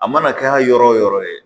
A mana kɛ yɔrɔ wo yɔrɔ ye